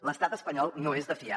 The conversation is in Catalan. l’estat espanyol no és de fiar